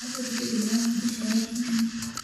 adwaro bedo maonge jahera higa ni